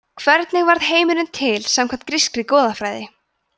hvernig varð heimurinn til samkvæmt grískri goðafræði